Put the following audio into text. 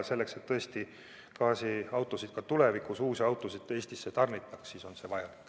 Selleks, et uusi gaasiautosid ka tulevikus Eestisse tarnitakse, on see vajalik.